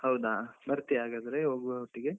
ಹೌದಾ, ಬರ್ತೀಯ ಹಾಗಾದ್ರೆ ಹೋಗುವ ಒಟ್ಟಿಗೆ.